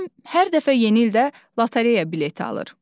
Nənəm hər dəfə yeni ildə lotereya bileti alır.